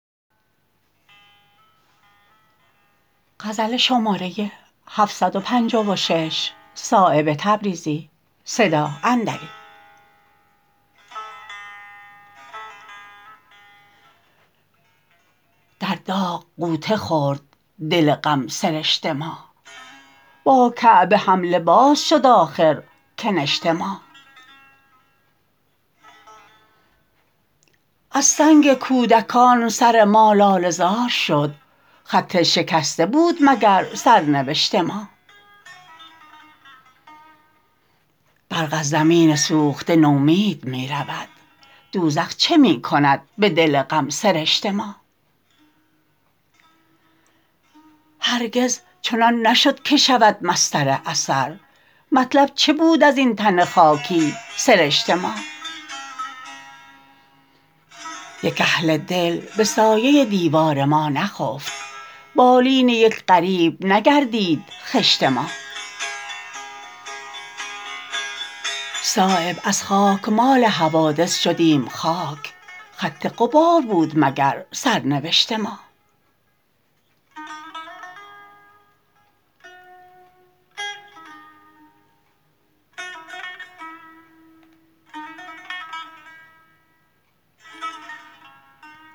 در داغ غوطه خورد دل غم سرشت ما با کعبه هم لباس شد آخر کنشت ما از سنگ کودکان سر ما لاله زار شد خط شکسته بود مگر سرنوشت ما برق از زمین سوخته نومید می رود دوزخ چه می کند به دل غم سرشت ما هرگز چنان نشد که شود مصدر اثر مطلب چه بود ازین تن خاکی سرشت ما یک اهل دل به سایه دیوار ما نخفت بالین یک غریب نگردید خشت ما صایب از خاکمال حوادث شدیم خاک خط غبار بود مگر سرنوشت ما